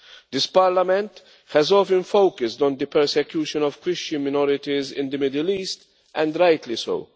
This Parliament has often focused on the persecution of Christian minorities in the Middle East, and rightly so.